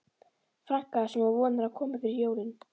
franka sem hún vonar að komi fyrir jólin.